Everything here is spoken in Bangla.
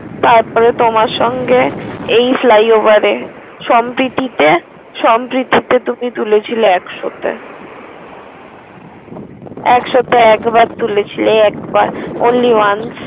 তারপরে তোমার সঙ্গে এই ফ্লাইওভারে সম্প্রীতিতে সম্প্রীতিতে তুমি তুলেছিলে একশতে একশতে একবার তুলেছিলে Only ones ।